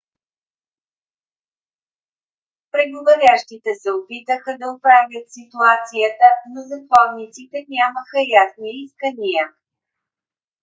преговарящите се опитаха да оправят ситуацията но затворниците нямаха ясни искания